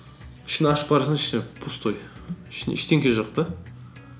ішін ашып қарасаң іші пустой ішінде ештеңе жоқ та